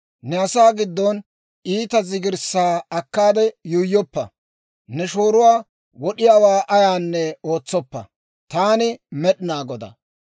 « ‹Ne asaa giddon iita zigirssaa akkaade yuuyyoppa. « ‹Ne shooruwaa wod'iyaawaa ayaanne ootsoppa. Taani Med'inaa Godaa.